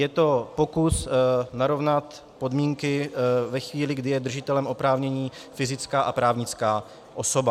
Je to pokus narovnat podmínky ve chvíli, kdy je držitelem oprávnění fyzická a právnická osoba.